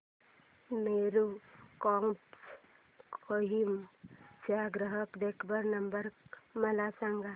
Meru cabs Kohima चा ग्राहक देखभाल नंबर मला सांगा